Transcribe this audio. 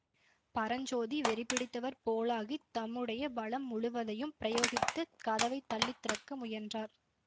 பரஞ்சோதி வெறிபிடித்தவர் போலாகித் தம்முடைய பலம் முழுவதையும் பிரயோகித்துக் கதவை தள்ளித்திறக்க முயன்றார்